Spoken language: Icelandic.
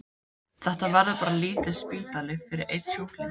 Þetta verður bara lítill spítali fyrir einn sjúkling.